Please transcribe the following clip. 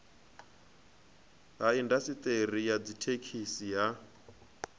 ha indasiṱeri ya dzithekhisi ha